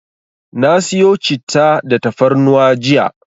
Na siyo Citta da tafarnuwa jiya.